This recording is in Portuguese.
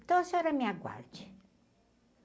Então a senhora me aguarde.